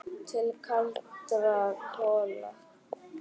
Til kaldra kola.